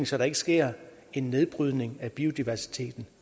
så der ikke sker en nedbrydning af biodiversiteten